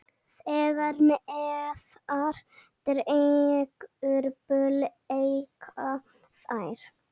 Þegar neðar dregur breikka þær.